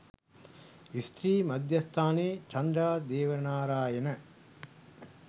ස්ත්‍රී මධ්‍යස්ථානයේ චන්ද්‍රා දේවනාරායන